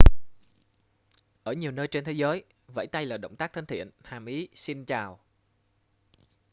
ở nhiều nơi trên thế giới vẫy tay là động tác thân thiện hàm ý xin chào